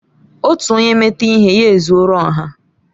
Otu onye meta ihe, ya ezuọro ọha